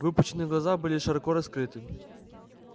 выпученные глаза были широко раскрыты